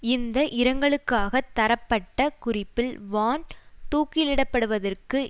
இந்த இரங்கலுக்காக தரப்பட்ட குறிப்பில் வான் தூக்கிலிடப்படுவதற்கு